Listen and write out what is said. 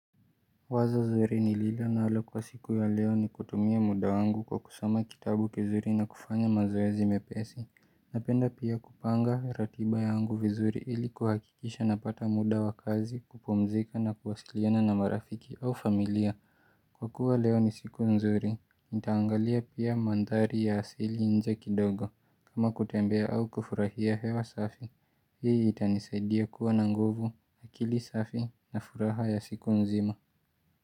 Wazo zuri nililo nalo kwa siku ya leo ni kutumia muda wangu kwa kusoma kitabu kizuri na kufanya mazoezi mepesi. Napenda pia kupanga ratiba yangu vizuri ili kuhakikisha napata muda wakazi kupomzika na kuwasiliona na marafiki au familia. Kwa kuwa leo ni siku nzuri, nitaangalia pia mandhari ya asili nje kidogo. Kama kutembea au kufurahia hewa safi, hii itanisaidia kuwa na nguvu, akili safi na furaha ya siku nzima.